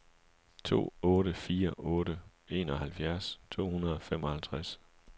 to otte fire otte enoghalvfjerds to hundrede og femoghalvtreds